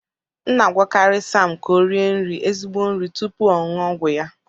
M na-agwakarị Sam ka o rie nri ezigbo nri tupu ọ ṅụọ ọgwụ ya